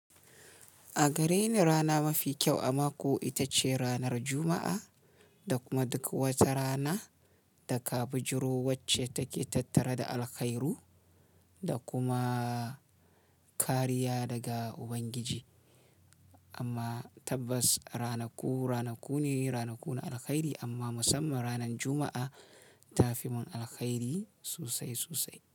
A gare ni rana mafi kyau a mako ita ce ranar Jumma'a, da kuma duk wata rana da ka bijiro wacce take tattare da alkhairu da kuma kariya daga Ubangiji. Amma tabbas ranaku ranaku ne, ranaku na alkhairi amma musamman ranar Juma'a ta fi mun alkhairi sosai sosai.